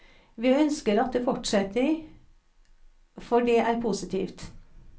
Vi ønsker at det fortsetter, for det er positivt.